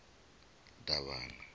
davhana